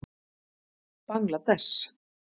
Bangladess